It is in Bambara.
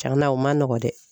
Tiɲɛna o ma nɔgɔn dɛ